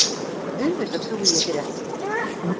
Auðvitað trúi ég þér ekki.